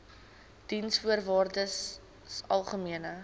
diensvoorwaardesalgemene